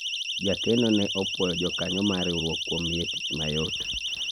jakeno ne opwoyo jokanyo mar riwruok kuom miye tich mayot